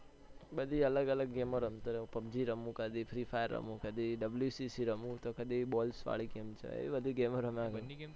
બધી અલગ અલગ game રમતો હોઉં છુ અલ્યા pubg રમુ કધી free fire રમુ કઘી wcc રમું તો કધી balls વાલી game રમું